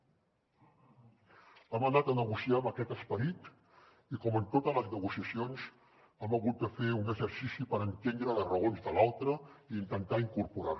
hem anat a negociar amb aquest esperit i com en totes les negociacions hem hagut de fer un exercici per entendre les raons de l’altre i intentar incorporar les